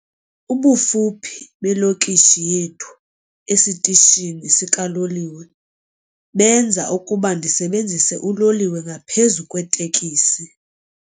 Ubufuphi belokishi yethu esitishini sikaloliwe benza ukuba ndisebenzise uloliwe ngaphezu kweetekisi.